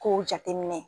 Kow jateminɛ